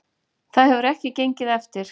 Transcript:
Það hefur ekki gengið eftir